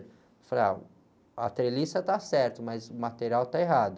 Eu falei, ah, a treliça está certo, mas o material está errado.